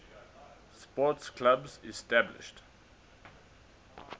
sports clubs established